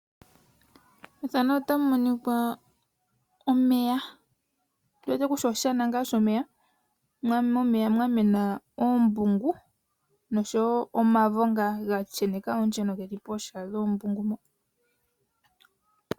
Oshana shomeya omeya mwamena oombungu oshowo omavo gashenek geli kooha nooha.